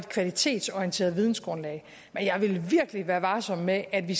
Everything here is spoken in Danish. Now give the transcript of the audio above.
kvalitetsorienteret vidensgrundlag men jeg ville virkelig være varsom med at vi